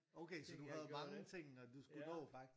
Okay så du havde mange ting når du skulle nå faktisk